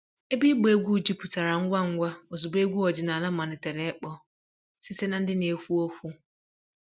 Ebe ịgba egwu jupụtara ngwa ngwa ozugbo egwu ọdịnala malitere ịkpọ site na ndị na-ekwu okwu